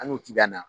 An y'o ci ka na